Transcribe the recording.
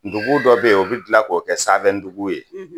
Ndugu dɔw bɛ yen u b'o bila k'o kɛ sanfɛdugu ye